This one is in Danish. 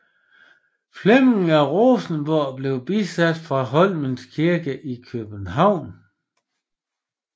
Flemming af Rosenborg blev bisat fra Holmens Kirke i København